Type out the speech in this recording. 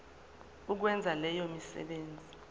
ukwenza leyo misebenzi